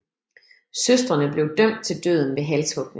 Søstrene blev dømt til døden ved halshugning